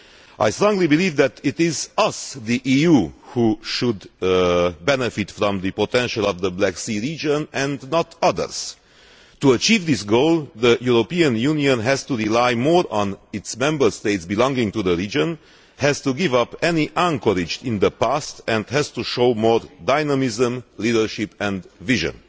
I strongly believe that we, the EU, should benefit from the potential of the Black Sea region and not others. To achieve this goal, the European Union has to rely more on its Member States belonging to the region, has to give up any anchorage in the past and has to show more dynamism, leadership and vision.